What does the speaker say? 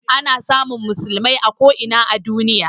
Ana samun musulmai a ko ina a duniya